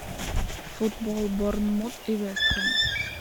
футбол борнмут и вест хэм